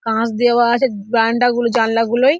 কাঁচ দেওয়া আছে বারান্দাগুলো জানলা গুলোয়--